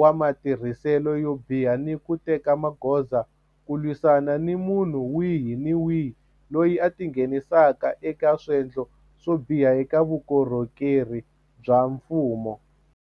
wa matirhiselo yo biha ni ku teka magoza ku lwisana ni munhu wihi ni wihi loyi a tingheni saka eka swendlo swo biha eka vukorhokeri bya mfumo.